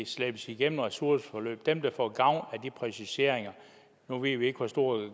slæbes igennem ressourceforløb dem der får gavn af de præciseringer nu ved vi ikke hvor stor